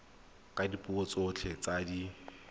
ka dipuo tsotlhe tse di